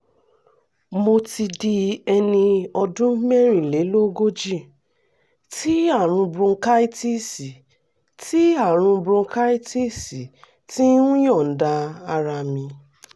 mo ti di ẹni ọdún mẹ́rìnlélógójì tí àrùn bronchitis tí àrùn bronchitis ti ń yọ̀ǹda ara mi